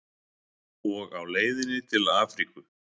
Og á leiðinni til Afríku.